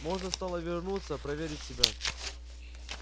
можно стало вернуться проверить себя